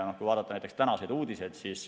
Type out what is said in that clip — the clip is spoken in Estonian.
Vaatame tänaseid uudiseid.